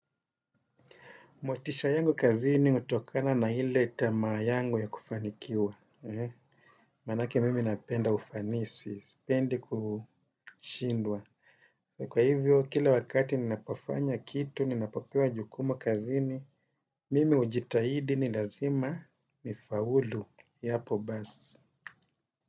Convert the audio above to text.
Motisha yangu kazini utokana na ile tamaa yangu ya kufanikiwa. Manake mimi napenda ufanisi, sipendi kushindwa. Kwa hivyo, kila wakati ninapofanya kitu, ninapopewa jukumu kazini, mimi hujitahidi ni lazima nifaulu. Yapo basi.